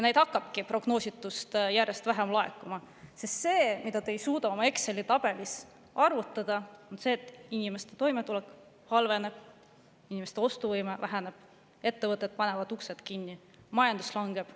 Neid hakkabki prognoositust järjest vähem laekuma, sest see, mida te ei suuda Exceli tabelis arvutada, on see, et inimeste toimetulek halveneb, inimeste ostuvõime väheneb, ettevõtted panevad uksed kinni, majandus langeb.